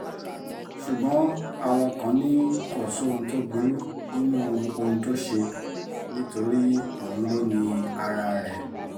ṣùgbọ́n àwọn kan ni kò sóhun tó burú nínú ohun tó ṣe nítorí òun ló ni ara rẹ̀